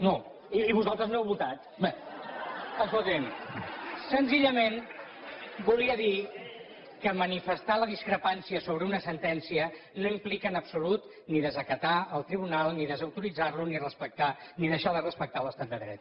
no i vosaltres no heu votat escolti’m senzillament volia dir que manifestar la discrepància sobre una sentència no implica en absolut ni desacatar el tribunal ni desautoritzar lo ni deixar de respectar l’estat de dret